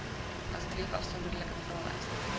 asseblief afsonderlike vraelyste